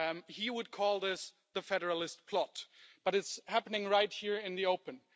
He would call this the federalist plot, but it's happening right here in the open.